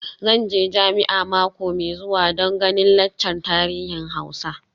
Zan je jami'a mako mai zuwa don ganin laccar tarihin Hausa.